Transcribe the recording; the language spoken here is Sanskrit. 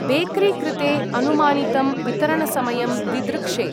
बेकरी कृते अनुमानितं वितरणसमयं दिदृक्षे।